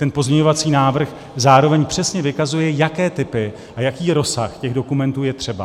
Ten pozměňovací návrh zároveň přesně vykazuje, jaké typy a jaký rozsah těch dokumentů jsou třeba.